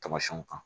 Tamasiyɛnw kan